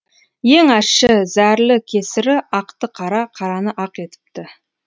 ең ащы зәрлі кесірі ақты қара қараны ақ етіпті